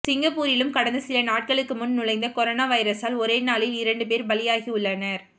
சிங்கப்பூரிலும் கடந்த சில நாட்களுக்கு முன் நுழைந்த கொரோனா வைரஸால் ஒரே நாளில் இரண்டு பேர் பலியாகியுள்ளனர்